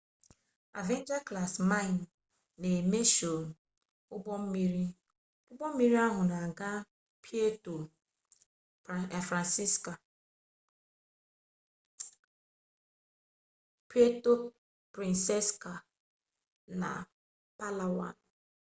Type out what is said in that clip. avenger class mine na emesho ugbommiri ugbommiri ahu n'aga puerto princessa na palawan